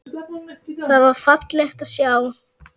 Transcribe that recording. Það var fallegt að sjá.